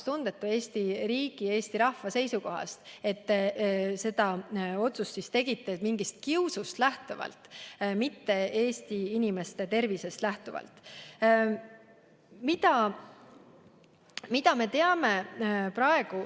Ma ütleksin, et see oli Eesti riigi ja rahva seisukohast väga vastutustundetu, te tegite selle otsuse mingist kiusust, mitte Eesti inimeste tervisest lähtuvalt.